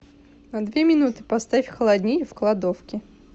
на две минуты поставь холоднее в кладовке